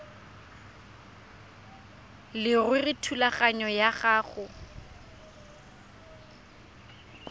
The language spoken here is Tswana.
leruri thulaganyo ya go